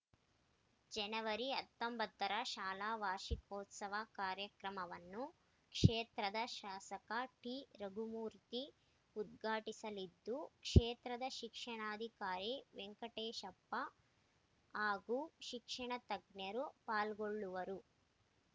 ಜನವರಿ ಹತ್ತೊಂಬತ್ತು ರ ಶಾಲಾ ವಾರ್ಷಿಕೋತ್ಸವ ಕಾರ್ಯಕ್ರಮವನ್ನು ಕ್ಷೇತ್ರದ ಶಾಸಕ ಟಿರಘುಮೂರ್ತಿ ಉದ್ಘಾಟಿಸಲಿದ್ದು ಕ್ಷೇತ್ರ ಶಿಕ್ಷಣಾಧಿಕಾರಿ ವೆಂಕಟೇಶಪ್ಪ ಹಾಗೂ ಶಿಕ್ಷಣ ತಜ್ಞರು ಪಾಲ್ಗೊಳ್ಳುವರು